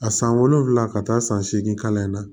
A san wolonwula ka taa san seegin kalan in na